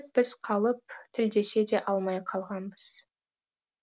біз қалып тілдесе де алмай қалғанбыз